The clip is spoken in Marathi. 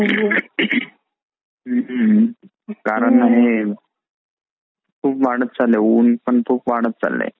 कारण हे उन पण खूप वाढत चाललय